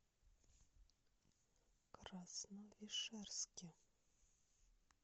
красновишерске